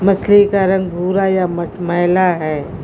मछली का रंग भूरा या मटमैला है।